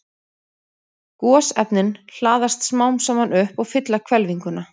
Gosefnin hlaðast smám saman upp og fylla hvelfinguna.